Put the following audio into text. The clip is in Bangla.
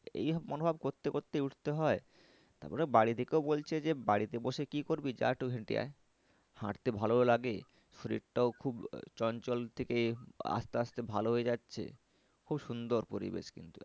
এই মনোভাব করতে করতে উঠতে হয়। তারপরে বাড়ি থেকেও বলছে যে বাড়িতে বসে কি করবি যা একটু হেঁটে আয়। হাঁটতে ভালোও লাগে। শরীরটাও খুব চঞ্চল থেকে আস্তে আস্তে ভালো হয়ে যাচ্ছে। খুব সুন্দর পরিবেশ কিন্তু।